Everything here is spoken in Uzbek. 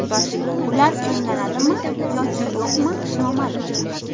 Ular emlanadimi yoki yo‘qmi noma’lum.